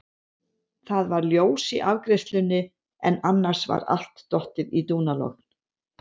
Það var ljós í afgreiðslunni en annars var allt dottið í dúnalogn.